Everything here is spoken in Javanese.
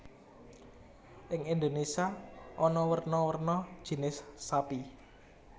Ing Indonesia ana werna werna jinis sapi